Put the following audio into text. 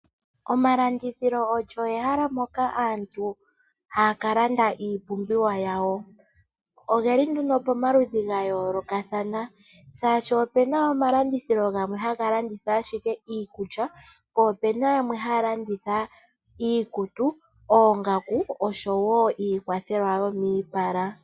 Omalandithilo olyo ehala moka aantu haya ka landa iipumbiwa yawo. Ogeli nduno pamaludhi gayolokathana. Shaashi opena omalandithilo gamwe haga landitha owala iikulya. Po opena yamwe haya landitha iikutu, oongaku oshowo iikwathelwa yomiipala.